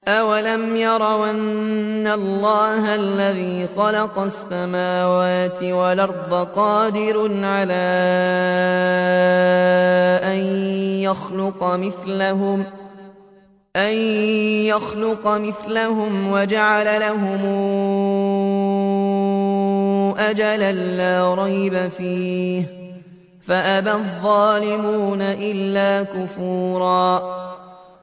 ۞ أَوَلَمْ يَرَوْا أَنَّ اللَّهَ الَّذِي خَلَقَ السَّمَاوَاتِ وَالْأَرْضَ قَادِرٌ عَلَىٰ أَن يَخْلُقَ مِثْلَهُمْ وَجَعَلَ لَهُمْ أَجَلًا لَّا رَيْبَ فِيهِ فَأَبَى الظَّالِمُونَ إِلَّا كُفُورًا